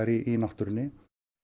í náttúrunni